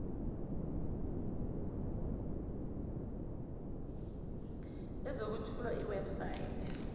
elizokwethula iweb site